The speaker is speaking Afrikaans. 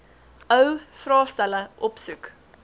ou vraestelle opsoek